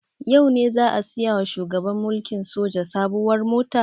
Yau ne za a saya wa shugaban mulkin soja sabuwar mota?